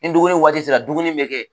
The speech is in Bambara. Ni dumuni waati sera dumuni bɛ kɛ